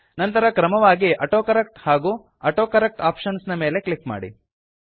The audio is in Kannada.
ನಂತರ ಕ್ರಮವಾಗಿ ಆಟೋಕರೆಕ್ಟ್ ಹಾಗೂ ಆಟೋಕರೆಕ್ಟ್ ಆಪ್ಷನ್ಸ್ ನ ಮೇಲೆ ಕ್ಲಿಕ್ ಮಾಡಿ